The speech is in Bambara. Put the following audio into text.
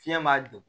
Fiɲɛ b'a degun